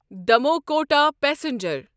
Damoh Kota passenger